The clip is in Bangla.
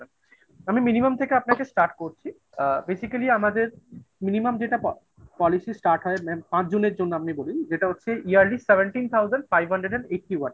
আমি minimum থেকে আপনাকে start করছি আ basically আমাদের minimum যেটা policy start হয়, mam পাঁচজনের জন্য আপনি বলুন। যেটা হচ্ছে Yearly Seventeen Thousand Five Hundred and Eighty-one